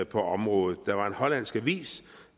på området der var en hollandsk avis